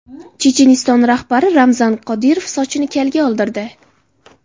Checheniston rahbari Ramzan Qodirov sochini kalga oldirdi.